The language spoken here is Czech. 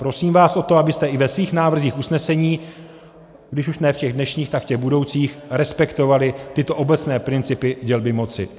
Prosím vás o to, abyste i ve svých návrzích usnesení, když už ne v těch dnešních, tak v těch budoucích, respektovali tyto obecné principy dělby moci.